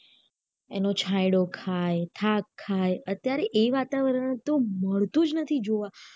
એનો છાંયડો ખાય થાક ખાય અત્યારે એ વાતાવરણ તો મળતું જ નથી જોવા